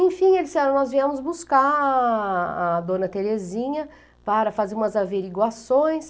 Enfim, eles disseram, nós viemos buscar a a dona Terezinha para fazer umas averiguações.